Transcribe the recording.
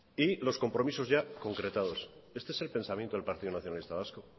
y los compromisos ya concretados este el pensamiento del partido nacionalista vasco